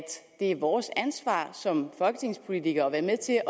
det er vores ansvar som folketingspolitikere at være med til